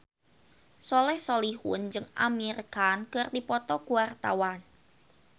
Soleh Solihun jeung Amir Khan keur dipoto ku wartawan